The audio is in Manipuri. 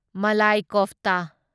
ꯃꯂꯥꯢ ꯀꯣꯐꯇ